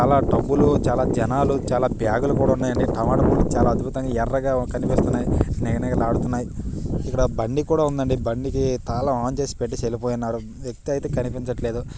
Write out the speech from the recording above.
చాలా టబ్బులు చాలా జనాలు చాలా బ్యాగులు కూడా ఉన్నాయి అండి టమాటాలు కూడా చాలా అద్బుతంగా ఎర్రగా కనిపిస్తున్నాయి నిగ నిగలాడుతున్నై ఇక్కడ బండి కూడా ఉండండి బండి తాళం ఆన్ చేసి పెట్టి వెళ్ళిపోయీనారు